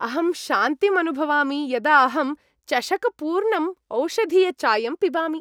अहं शान्तिम् अनुभवामि यदा अहम् चषकपूर्णम् ओषधीयचायं पिबामि।